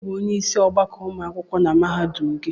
Onye by onyeisi ọgbakọ ụmụ akwụkwọ na mahadum gị?